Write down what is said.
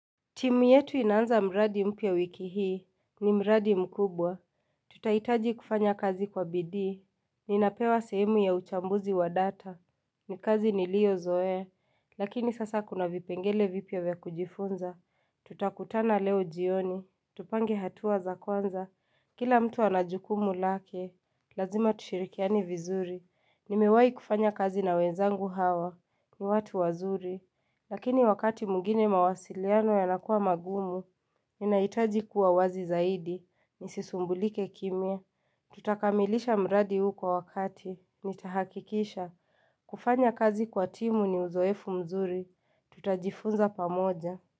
Timu yetu inaanza mradi mpya wiki hii, ni mradi mkubwa. Tutaitaji kufanya kazi kwa bidii. Ninapewa sehemu ya uchambuzi wa data. Ni kazi ni liyo zoea. Lakini sasa kuna vipengele vipia vya kujifunza. Tutakutana leo jioni. Tupange hatua za kwanza. Kila mtu anajukumu lake. Lazima tushirikiani vizuri. Nimewai kufanya kazi na wenzangu hawa. Ni watu wazuri. Lakini wakati mwingine mawasiliano yanakuwa magumu, ninaitaji kuwa wazi zaidi, nisisumbulike kimia. Tutakamilisha mradi huu kwa wakati, nitahakikisha. Kufanya kazi kwa timu ni uzoefu mzuri, tutajifunza pamoja.